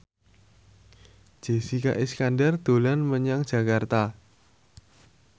Jessica Iskandar dolan menyang Jakarta